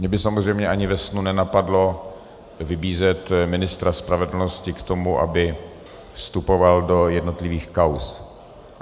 Mě by samozřejmě ani ve snu nenapadlo vybízet ministra spravedlnosti k tomu, aby vstupoval do jednotlivých kauz.